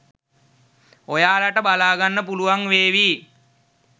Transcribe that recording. ඔයාලට බලාගන්න පුලුවන් වේවි